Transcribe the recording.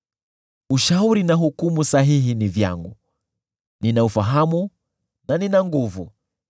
Ushauri na hukumu sahihi ni vyangu; nina ufahamu na nina nguvu.